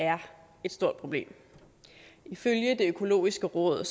er et stort problem ifølge det økologiske råd